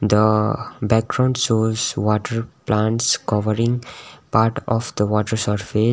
the background shows water plants covering part of the water surface.